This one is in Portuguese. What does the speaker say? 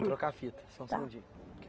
Vou trocar a fita, só um segundinho